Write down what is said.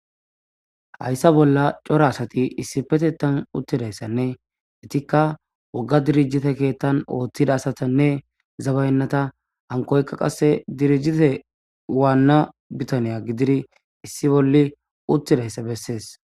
hayssa bolla cora asati issi petetan uttidayssanne etikka wogga dirijite keettan ooththida asatanne zabayennata hankoykka qasse dirijite waanna bitaniya gididi issi bolli uttidayssa bessees